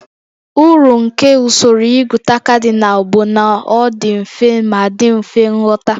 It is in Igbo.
Uru nke usoro ịgụta kadinal bụ na ọ dị mfe ma dị mfe nghọta